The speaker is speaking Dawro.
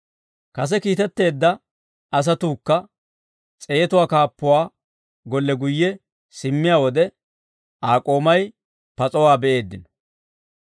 Kase kiitetteedda asatuukka s'eetuwaa kaappuwaa golle guyye simmiyaa wode, Aa k'oomay pas'owaa be'eeddino.